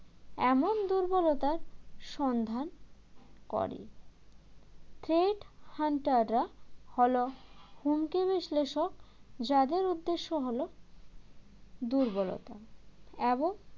এমন দুর্বলতার সন্ধান করে threat hunter রা হল হুমকি বিশ্লেষক যাদের উদ্দেশ্য হল দুর্বলতা এবং